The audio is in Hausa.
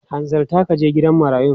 Hanzarta ka je gidan marayun!